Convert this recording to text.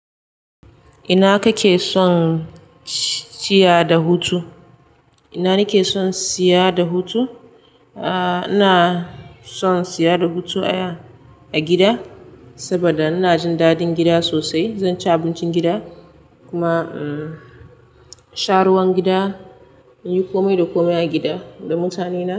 Ina kake son siya da hutu? Ina nike son siya da hutu? Ah, ina son siya da hutu a gida saboda ina jin daɗin gida sosai. Zanci abincin gida kuma, umm, sha ruwan gida, inyi komai da komai a gida da mutane na.